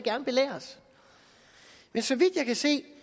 jeg så vidt jeg kan se